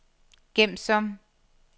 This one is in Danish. gem som